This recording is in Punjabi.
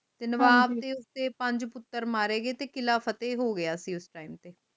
ਨਵਾਬ ਦੇ ਪੰਜ ਪੁੱਤਰ ਮਾਰੇ ਗਏ ਤੇ ਕਿਲਾ ਫਤਿਹ ਹੋਗਿਆ ਸੀ ਉਸ time ਤੇ